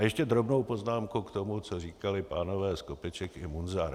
A ještě drobnou poznámku k tomu, co říkali pánové Skopeček i Munzar.